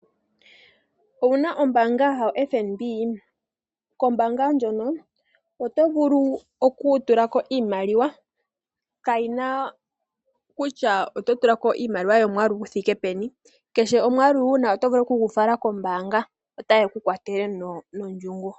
Owuna ombaanga yaFNB? Kombaanga ndjono oto vulu okutulako iimaliwa kayina kutya oto tulako Iimaliwa yomwaalu guthike peni. Kehe omwaalu wuna oto vulu okugu fala kombaanga, otaye ku kwathele nondjungu.